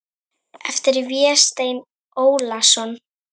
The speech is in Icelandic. eftir Véstein Ólason